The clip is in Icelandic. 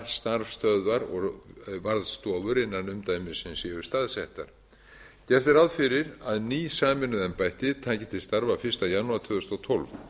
starfsstöðvar og varðstofur innan umdæmisins eru staðsettar gert er ráð fyrir að ný sameinuð embætti taki til starf fyrsta janúar tvö þúsund og tólf